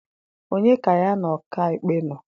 onye ka ya na ọka ikpe nọ?